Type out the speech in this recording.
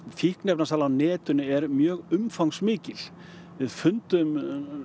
fíkniefnasala á netinu er mjög umfangsmikil við fundum